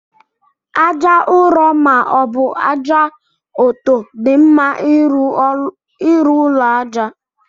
Aja nrọ ma ọbu aja ọtọ di mma irụ ụlọ aja.